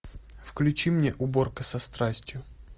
включи мне уборка со страстью